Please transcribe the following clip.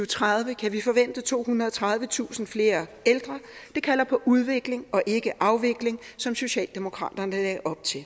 tredive kan vi forvente tohundrede og tredivetusind flere ældre det kalder på udvikling og ikke afvikling som socialdemokraterne lagde op til